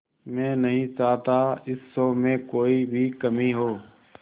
मैं नहीं चाहता इस शो में कोई भी कमी हो